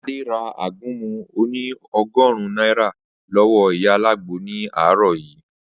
Adé ra àgúnmu oní o̩gò̩rún náírà ló̩wó̩ ìyá alágbo ní àárò̩ yìí